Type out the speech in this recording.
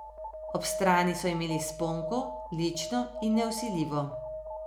Ob strani so imeli sponko, lično in nevsiljivo.